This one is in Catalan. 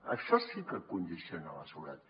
això sí que condiciona la seguretat